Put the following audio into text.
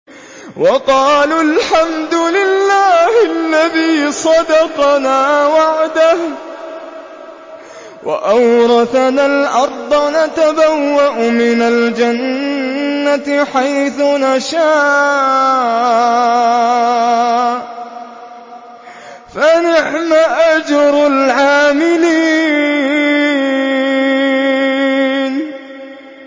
وَقَالُوا الْحَمْدُ لِلَّهِ الَّذِي صَدَقَنَا وَعْدَهُ وَأَوْرَثَنَا الْأَرْضَ نَتَبَوَّأُ مِنَ الْجَنَّةِ حَيْثُ نَشَاءُ ۖ فَنِعْمَ أَجْرُ الْعَامِلِينَ